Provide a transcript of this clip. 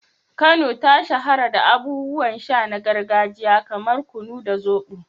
Kano ta shahara da abubuwan sha na gargajiya kamar su kunu da zobo.